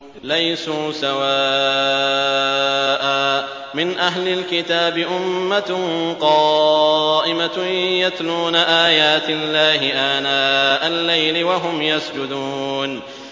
۞ لَيْسُوا سَوَاءً ۗ مِّنْ أَهْلِ الْكِتَابِ أُمَّةٌ قَائِمَةٌ يَتْلُونَ آيَاتِ اللَّهِ آنَاءَ اللَّيْلِ وَهُمْ يَسْجُدُونَ